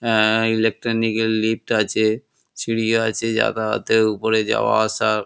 অ্যা electronic এর lift আছে সিঁড়ি আছে জাগাতেও উপরের যাওয়া আসা।